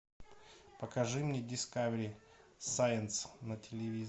покажи мне дискавери сайнс на телевизоре